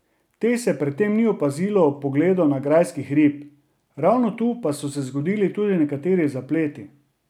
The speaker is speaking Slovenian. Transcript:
Te se pred tem ni opazilo ob pogledu na grajski hrib, ravno tu pa so se zgodili tudi nekateri zapleti.